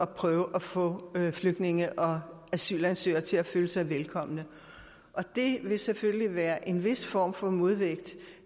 prøve at få flygtninge og asylansøgere til at føle sig velkomne det vil selvfølgelig være en vis form for modvægt